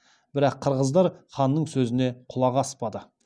бірақ қырғыздар ханның сөзіне құлақ аспады